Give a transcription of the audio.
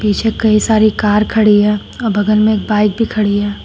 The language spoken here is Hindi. पीछे कई सारी कार खड़ी है बगल में एक बाइक भी खड़ी है।